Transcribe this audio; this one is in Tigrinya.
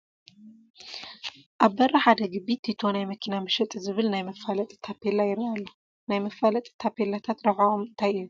ኣብ በሪ ሓደ ግቢ ቲቶ ናይ መኪና መሸጢ ዝብል ናይ መፋለጢ ታፔላ ይርአ ኣሎ፡፡ ናይ መፋለጢ ታፔላታት ረብሕኦም እንታይ እዩ?